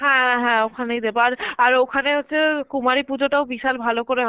হ্যাঁ হ্যাঁ ওখানে দেবো আর~ আর ওখানে হচ্ছে কুমারী পুজোতাও বিশাল ভালো করে